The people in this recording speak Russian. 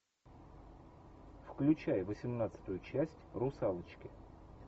включай восемнадцатую часть русалочки